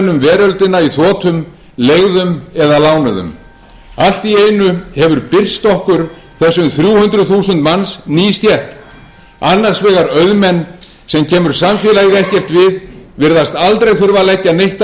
þotum leigðum eða lánuðum allt í einu hefur birst okkur þessum þrjú hundruð þúsund manns ný stétt annars vegar auðmenn sem kemur samfélagið ekkert við virðast aldrei þurfa að leggja neitt